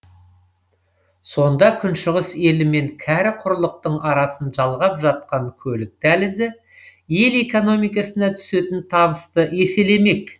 сонда күншығыс елі мен кәрі құрлықтың арасын жалғап жатқан көлік дәлізі ел экономикасына түсетін табысты еселемек